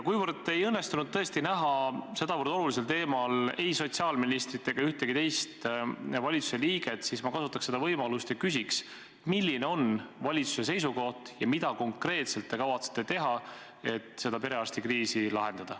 Kuivõrd ei õnnestunud tõesti näha sedavõrd olulisel teemal kõnelemas ei sotsiaalministrit ega ühtegi teist valitsuse liiget, siis ma kasutaks võimalust ja küsiks, milline on valitsuse seisukoht ja mida konkreetselt te kavatsete teha, et perearstikriisi lahendada.